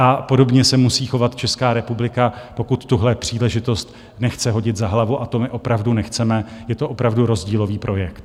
A podobně se musí chovat Česká republika, pokud tuhle příležitost nechce hodit za hlavu, a to my opravdu nechceme, je to opravdu rozdílový projekt.